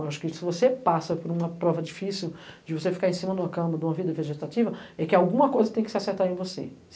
Eu acho que se você passa por uma prova difícil de você ficar em cima de uma cama, de uma vida vegetativa, é que alguma coisa tem que se acertar em você.